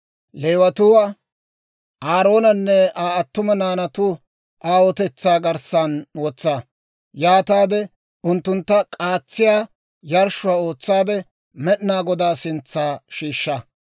Leewatuwaa Aaroonanne Aa attuma naanatu aawotetsaa garssan wotsa; yaataade unttuntta k'aatsiyaa yarshshuwaa ootsaade, Med'inaa Godaa sintsa shiishsha.